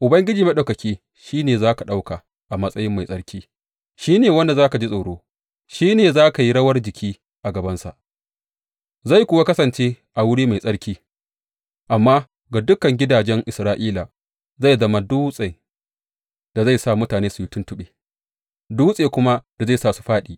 Ubangiji Maɗaukaki shi ne za ka ɗauka a matsayi mai tsarki, shi ne wanda za ka ji tsoro, shi ne za ka yi rawar jiki a gabansa, zai kuwa kasance a wuri mai tsarki; amma ga dukan gidajen Isra’ila zai zama dutsen da zai sa mutane su yi tuntuɓe dutse kuma da zai sa su fāɗi.